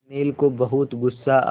अनिल को बहुत गु़स्सा आया